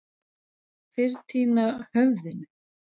Fyrr týna höfðinu.